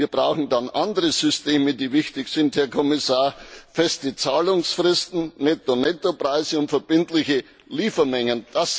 Wir brauchen dann andere Systeme, die wichtig sind, Herr Kommissar feste Zahlungsfristen, Netto Netto Preise und verbindliche Liefermengen.